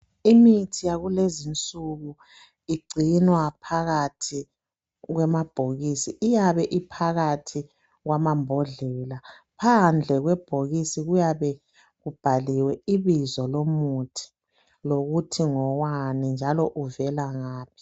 Imithi yakulezinsuku igcinwa phakathi kwamabhokisi . Iyabe iphakathi kwamambodlela. Phandle kwebhokisi kuyabe kubhaliwe ibizo lomuthi lokuthi ngowani njalo uvelangaphi.